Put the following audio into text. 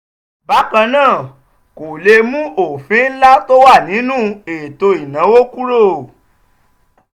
bákan náà kò lè mú ọ̀fìn ńlá tó wà nínú ètò ìnáwó kúrò.